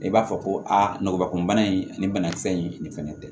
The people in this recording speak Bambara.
I b'a fɔ ko a nɔgɔ kunbana in ani banakisɛ in nin fɛnɛ tɛ